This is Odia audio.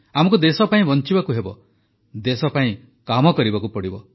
ଆମକୁ ଦେଶ ପାଇଁ ବଞ୍ଚିବାକୁ ହେବ ଦେଶ ପାଇଁ କାମ କରିବାକୁ ହେବ